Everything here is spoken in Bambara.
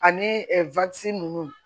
Ani ninnu